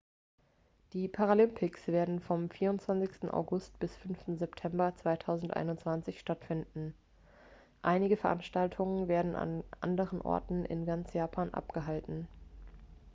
die paralympics werden vom 24. august bis 5. september 2021 stattfinden einige veranstaltungen werden an anderen orten in ganz japan abgehalten